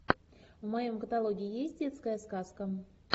в моем каталоге есть детская сказка